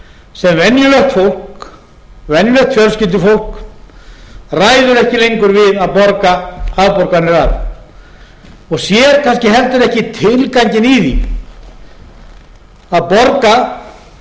fasteigna sem venjulegt fjölskyldufólk ræður ekki lengur við að borga afborganir af og sér kannski heldur ekki tilganginn í því að borga þar